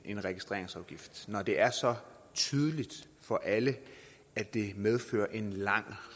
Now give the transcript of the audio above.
en registreringsafgift når det er så tydeligt for alle at det medfører en lang